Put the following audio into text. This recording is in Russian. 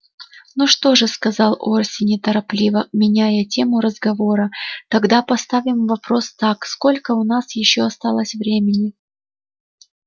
ну что же сказал орси неторопливо меняя тему разговора тогда поставим вопрос так сколько у нас ещё осталось времени